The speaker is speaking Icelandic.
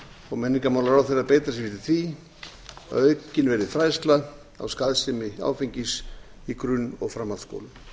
og menningarmálaráðherra að beita sér fyrir því að aukin verði fræðsla á skaðsemi áfengis í grunn og framhaldsskólum